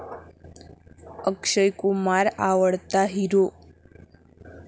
अक्षय कुमार आवडता हिरो